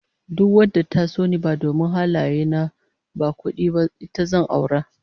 Duk wadda ta so ni domin halaye na ba kudi ba, ita zan aura